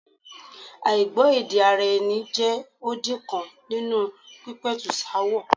Àìgbọ́-èdè-ara-ẹni jẹ́ odi kan nínú pípẹ̀tùsááwọ̀.